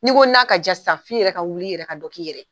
N'i ko na ka diya sisan f'i yɛrɛ ka wuli i yɛrɛ ka dɔ k'i yɛrɛ ye.